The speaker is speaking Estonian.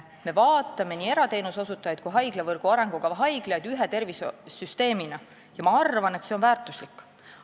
Me vaatame nii erateenuse osutajaid kui haiglavõrgu arengukava haiglaid ühe tervishoiusüsteemina ja ma arvan, et see on väärtuslik.